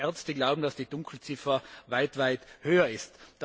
Ärzte glauben, dass die Dunkelziffer weit höher ist.